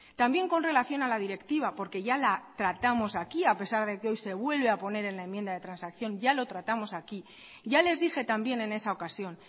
también con relación a la directiva porque ya la tratamos aquí a pesar de que hoy se vuelve a poner en la enmienda de transacción ya lo tratamos aquí ya les dije también en esa ocasión